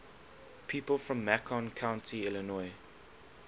people from macon county illinois